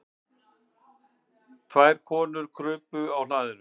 Tvær konur krupu á hlaðinu.